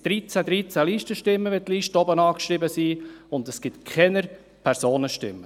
Wenn die Listen oben beschriftet sind, ergibt dies 13 Listenstimmen, aber keine Personenstimmen.